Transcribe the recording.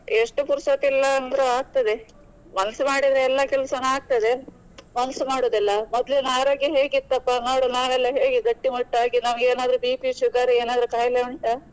ಎಷ್ಟು ಪುರ್ಸೊತ್ ಇಲ್ಲ ಅಂದ್ರು ಆಗ್ತದೆ. ಮನ್ಸು ಮಾಡಿದ್ರೆ ಎಲ್ಲಾ ಕೆಲ್ಸನು ಆಗ್ತದೆ. ಮನ್ಸು ಮಾಡುದಿಲ್ಲ ಮೊದ್ಲಿನ ಆರೋಗ್ಯ ಹೇಗಿತ್ತಪ್ಪ ನೋಡು ನಾವೆಲ್ಲ ಹೇಗೆ ಗಟ್ಟಿ ಮುಟ್ಟಾಗಿ ನಮ್ಗೆ ಏನಾದ್ರು BP sugar ಏನಾದ್ರೂ ಕಾಯಿಲೆ ಉಂಟಾ?